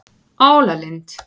Álalind